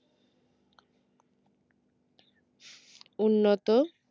উন্নত